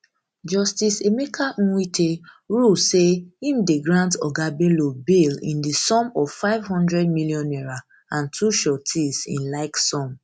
justice emeka nwite rule say im dey grant oga bello bail in di sum of five hundred million naira and two sureties in like sum